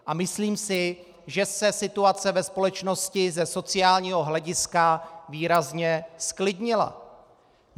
A myslím si, že se situace ve společnosti ze sociálního hlediska výrazně zklidnila.